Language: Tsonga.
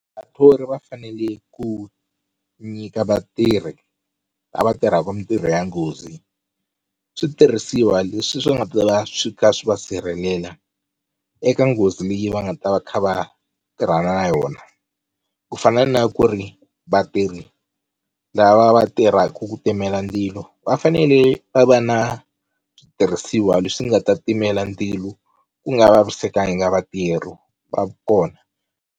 Vathori va fanele ku nyika vatirhi lava tirhaka mintirho ya nghozi switirhisiwa leswi swi nga ta va swi kha swi va sirhelela eka nghozi leyi va nga ta va kha va tirhana na yona, ku fana na ku ri vatirhi lava va tirhaka ku timela ndzilo va fanele va va na switirhisiwa leswi nga ta timela ndzilo ku nga vavisekanga vatirhi va kona.